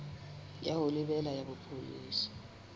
ya ho lebela ya bopolesa